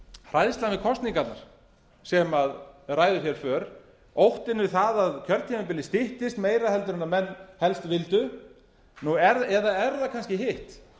hræðslan við kosningarnar sem ræður för óttinn við það að kjörtímabilið styttist meira heldur en menn helst vildu eða er það kannski hitt